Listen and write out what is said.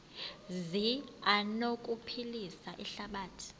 zi anokuphilisa ihlabathi